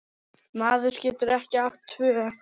Maður getur ekki átt tvö